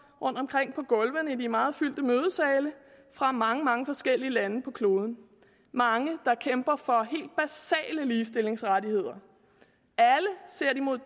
rundtomkring på gulvene i de meget fyldte mødesale fra mange mange forskellige lande på kloden mange der kæmper for helt basale ligestillingsrettigheder alle ser de mod